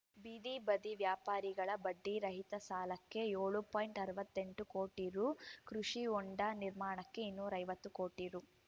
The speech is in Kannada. ಬೀದಿ ಬದಿ ವ್ಯಾಪಾರಿಗಳ ಬಡ್ಡಿರಹಿತ ಸಾಲಕ್ಕೆ ಏಳು ಪಾಯಿಂಟ್ ಅರವತ್ತೆಂಟು ಕೋಟಿ ರೂ ಕೃಷಿ ಹೋಂಡ ನಿರ್ಮಾಣಕ್ಕೆ ಇನ್ನೂರ ಐವತ್ತು ಕೋಟಿ ರೂ